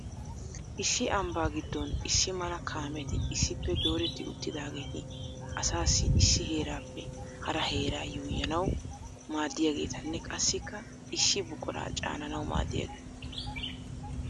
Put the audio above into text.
Issi ambba giddon issi mala kaameti issippe dooreti uttidaageeti asaassi issi heerappe hara heera yuuyyanaw maaddiyaageetanne qassikka issi buquraa caananaw maaddiyaageeta.